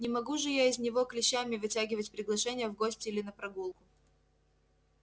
не могу же я из него клещами вытягивать приглашение в гости или на прогулку